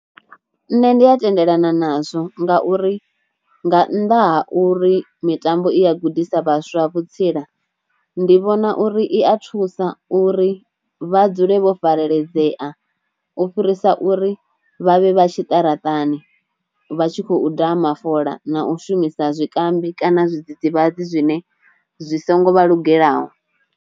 Nṋe ndi a tendelana nazwo nga uri nga nnḓa ha uri mitambo i a gudisa vhaswa vhutsila, ndi vhona uri i a thusa uri vha dzule vho fareledzea u fhirisa uri vhavhe vha tshiṱaratani vha tshi khou daha mafola na u shumisa zwikambi kana zwidzidzivhadzi zwine zwi songo vha lugelaho.